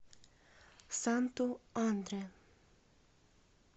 санту андре